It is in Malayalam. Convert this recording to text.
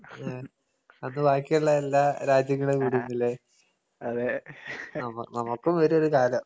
ഉം അന്ന് ബാക്കിയൊള്ള എല്ലാ രാജ്യങ്ങളേം വിടൂന്നല്ലേ? നമ നമ്മക്കും വരുവൊരു കാലം.